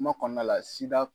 Kuma kɔnɔna la